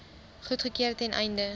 goedgekeur ten einde